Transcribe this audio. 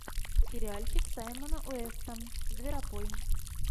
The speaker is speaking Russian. сериальчик с саймоном уэстом зверопой